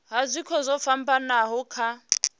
ha zwiko zwo fhambanaho kha